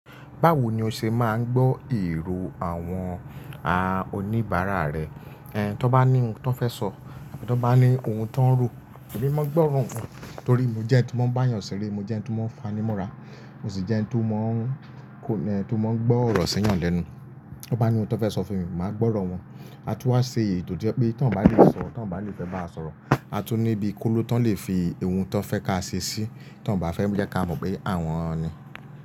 Báwo ni o ṣe máa ń gbọ́ èrò àwọn a oníbàárà rẹ? Ẹn, tí wọ́n bá ní ohun tí wọ́n fẹ́ sọ àti tí wọ́n bá ní ohun tí wọ́n ń ro, èmi máa ń gbọ́ ọ̀rọ̀ wọn torí mo jẹ́ ẹni tí ma ń bá yàn sere, mo jẹ́ ẹni tí ma ń fani mọ́ra, mo sì jẹ́ ẹni to ma ń kò ní ẹni to ma ń gbọ́ ọ̀rọ̀ si eyàn lẹ́nu. Tí wọ́n bá ní ohun tí wọ́n fẹ́ sọ fún mi, màá gbọ́ ọ̀rọ̀ wọn. A tún wá ṣe ètò to jẹ̀ pé tí wọ́n bá lè sọ, tí wọ́n bá lè fẹ́ bá wa sọ̀rọ̀, a tún ní bí i kóló tí wọ́n lè fi ohun tí wọ́n fẹ́ ká ṣe sí i, tí wọ́n bá fẹ́ jẹ́ kí a mọ̀ pé àwọn ni.